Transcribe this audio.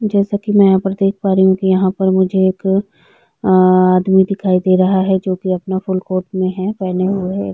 जैसा की मै यहाँ पे देख पा रही हु की मुझे यहाँ पर एक अअअअ आदमी देखाई दे रहा है जो की अपना फूल कोट में हैपहने हुए है।